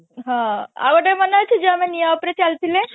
ହଁ ଆଉ ଗୋଟେ ମନେ ଅଛି ଯୋଉ ଆମେ ନିଆଁ ଉପରେ ଚାଲିଥିଲେ